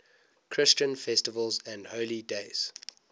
christian festivals and holy days